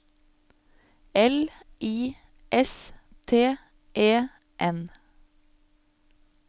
L I S T E N